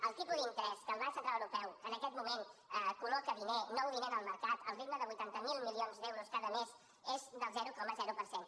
el tipus d’interès que el banc central europeu que en aquest moment col·loca diner nou diner en el mercat al ritme de vuitanta miler milions d’euros cada mes és del zero coma zero per cent